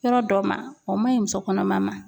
Yɔrɔ dɔ ma o ma ɲi muso kɔnɔma ma.